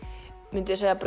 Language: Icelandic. mynduð þið segja að